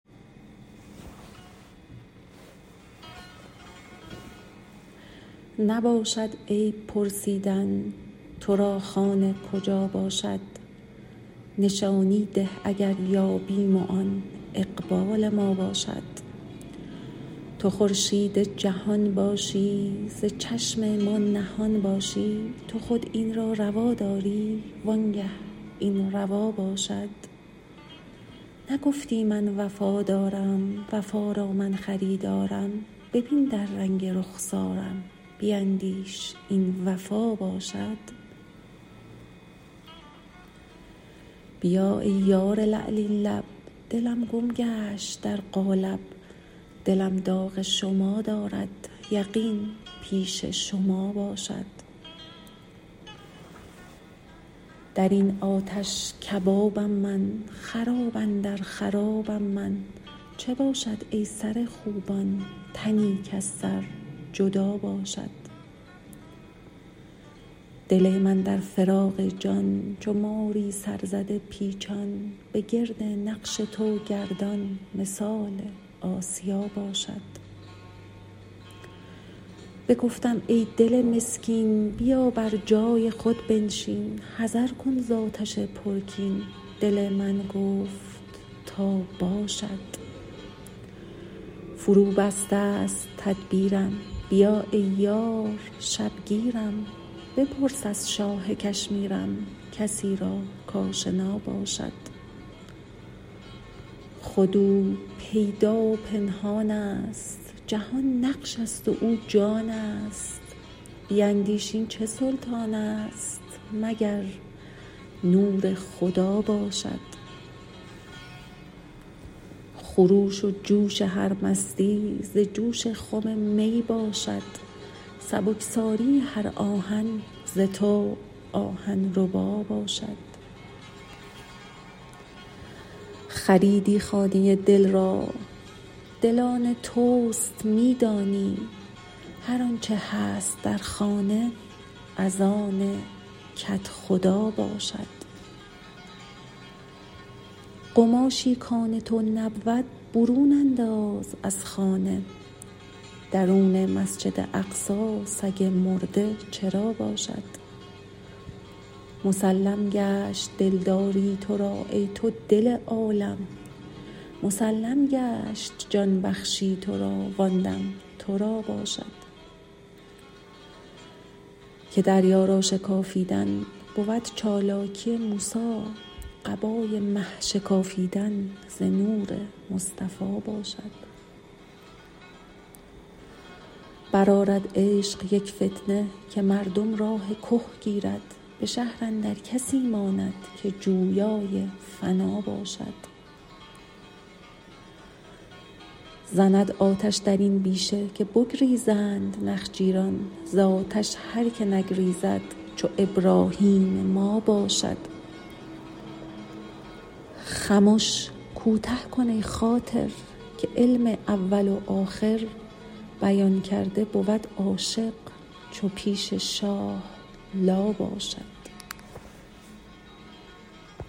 نباشد عیب پرسیدن تو را خانه کجا باشد نشانی ده اگر یابیم وان اقبال ما باشد تو خورشید جهان باشی ز چشم ما نهان باشی تو خود این را روا داری وانگه این روا باشد نگفتی من وفادارم وفا را من خریدارم ببین در رنگ رخسارم بیندیش این وفا باشد بیا ای یار لعلین لب دلم گم گشت در قالب دلم داغ شما دارد یقین پیش شما باشد در این آتش کبابم من خراب اندر خرابم من چه باشد ای سر خوبان تنی کز سر جدا باشد دل من در فراق جان چو ماری سرزده پیچان بگرد نقش تو گردان مثال آسیا باشد بگفتم ای دل مسکین بیا بر جای خود بنشین حذر کن ز آتش پرکین دل من گفت تا باشد فروبستست تدبیرم بیا ای یار شبگیرم بپرس از شاه کشمیرم کسی را کاشنا باشد خود او پیدا و پنهانست جهان نقش است و او جانست بیندیش این چه سلطانست مگر نور خدا باشد خروش و جوش هر مستی ز جوش خم می باشد سبکساری هر آهن ز تو آهن ربا باشد خریدی خانه دل را دل آن توست می دانی هر آنچ هست در خانه از آن کدخدا باشد قماشی کان تو نبود برون انداز از خانه درون مسجد اقصی سگ مرده چرا باشد مسلم گشت دلداری تو را ای تو دل عالم مسلم گشت جان بخشی تو را وان دم تو را باشد که دریا را شکافیدن بود چالاکی موسی قبای مه شکافیدن ز نور مصطفی باشد برآرد عشق یک فتنه که مردم راه که گیرد به شهر اندر کسی ماند که جویای فنا باشد زند آتش در این بیشه که بگریزند نخجیران ز آتش هر که نگریزد چو ابراهیم ما باشد خمش کوته کن ای خاطر که علم اول و آخر بیان کرده بود عاشق چو پیش شاه لا باشد